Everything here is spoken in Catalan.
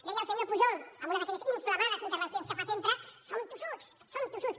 deia el senyor pujol en una d’aquelles inflamades intervencions que fa sempre som tossuts som tossuts